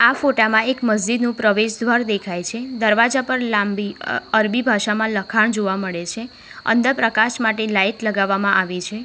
આ ફોટા માં એક મસ્જિદ નું પ્રવેશ દ્વાર દેખાય છે દરવાજા પર લાંબી અ અરબી ભાષામાં લખાણ જોવા મળે છે અંદર પ્રકાશ માટે લાઈટ લગાવવામાં આવી છે.